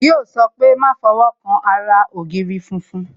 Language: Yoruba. Yo sọ pé "Má fọwọ́ kan ara ògiri funfun"